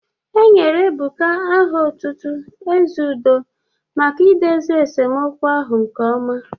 Enyere Ebuka aha otutu 'Ezeudo' maka idozi esemokwu ahụ nke ọma.